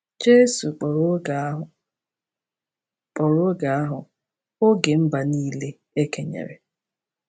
Jesu kpọrọ oge ahụ kpọrọ oge ahụ “oge mba niile e kenyere.”